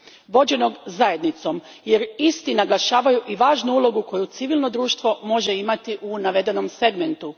vođenog zajednicom jer isti naglašavaju i važnu ulogu koju civilno društvo može imati u navedenom segmentu.